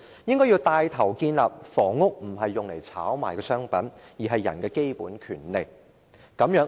政府應該牽頭建立房屋不是炒賣的商品，而是人的基本權利的概念。